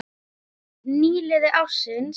Nýliði ársins